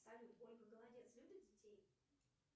салют ольга голодец любит детей